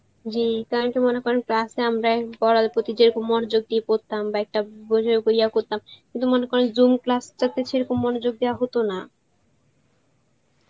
জি কারণ কি মনে করেন class এ আমরা পরার প্রতি যেরকম মনোযোগ দিয়ে পর্তাম একটা উঝে গিয়া করতাম কিন্তু মনে করেন zoom class টা তে সেরকম মনোযোগ দেওয়া হত না